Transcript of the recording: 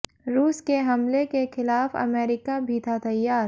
रूस के हमले के खिलाफ अमेरिका भी था तैयार